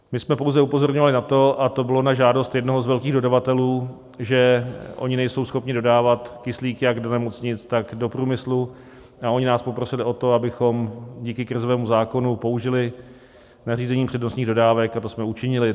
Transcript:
My jsme pouze upozorňovali na to, a to bylo na žádost jednoho z velkých dodavatelů, že oni nejsou schopni dodávat kyslík jak do nemocnic, tak do průmyslu, a oni nás poprosili o to, abychom díky krizovému zákonu použili nařízení přednostních dodávek, a to jsme učinili.